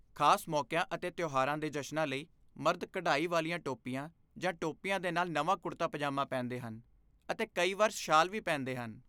ਖਾਸ ਮੌਕਿਆਂ ਅਤੇ ਤਿਉਹਾਰਾਂ ਦੇ ਜਸ਼ਨਾਂ ਲਈ ਮਰਦ ਕਢਾਈ ਵਾਲੀਆਂ ਟੋਪੀਆਂ ਜਾਂ ਟੋਪੀਆਂ ਦੇ ਨਾਲ ਨਵਾਂ ਕੁੜਤਾ ਪਜਾਮਾ ਪਹਿਨਦੇ ਹਨ, ਅਤੇ ਕਈ ਵਾਰ ਸ਼ਾਲ ਵੀ ਪਹਿਨਦੇ ਹਨ।